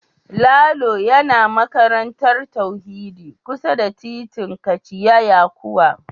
Lalo yana makarantar tauhidi kusa da titin kachia yakowa